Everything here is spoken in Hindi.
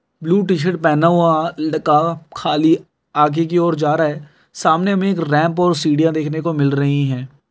ब्लू टी-शर्ट पहना हुआ लडका खाली आगे की और जा रहा है| सामने में एक रैंप और सिढियाँ देखने को मिल रही हैं।